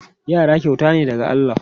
Yara kyauta ne daga Allah.